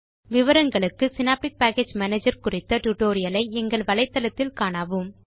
விவரங்களுக்கு Synaptic package manager குறித்த tutorial ஐ எங்கள் வலைத்தளத்தில் காணவும்